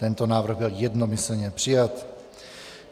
Tento návrh byl jednomyslně přijat.